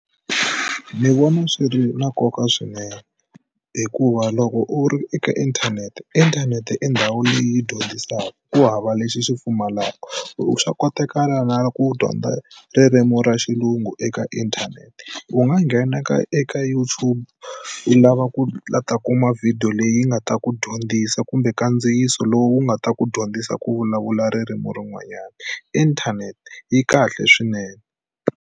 Ni vona swi ri na nkoka swinene hikuva loko u ri eka inthanete inthanete i ndhawu leyi dyondzisaka ku hava lexi xi pfumalaka swa kotakala na ku dyondza ririmi ra xilungu eka inthanete u nga nghena ka eka YouTube u lava kulata kuma video leyi nga ta ku dyondzisa kumbe kandziyisa lowu wu nga ta ku dyondzisa ku vulavula ririmi rin'wanyana inthanete yi kahle swinene.